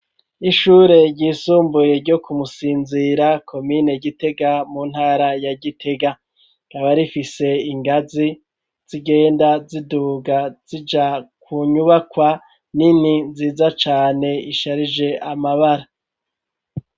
Ishure ryisumbuye ryo ku Musinzira komine Gitega mu ntara ya Gitega rikaba rifise ingazi z'igenda ziduga zija ku nyubakwa nini nziza cane isharije amabara.